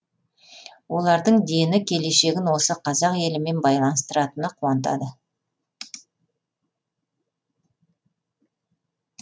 олардың дені келешегін осы қазақ елімен байланыстыратыны қуантады